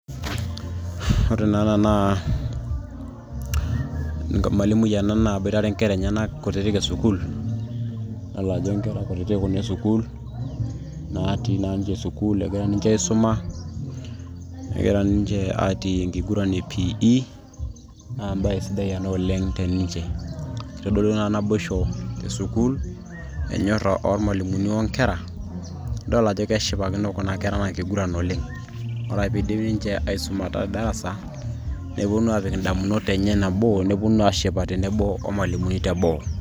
ore naa ena naa emalimui ena naboitare inkera enyenak kutitik esukuul idol ajo inkera kutitik kuna esukuul natii naa ninche sukuul egira ninche aisuma egira ninche atii enkiguran e PE naa embaye sidai ena oleng te ninche kitodolu ena naboisho te sukuul enyorra ormalimuni o nkera idol ajo keshipakino kuna kera ena kiguran oleng ore ake piidip ninche aisumata te darasa neponu apik indamunot enye enebo neponu ashipa tenebo omalimuni teboo.